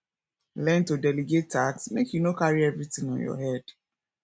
learn to delegate tasks make you no carry everytin on your head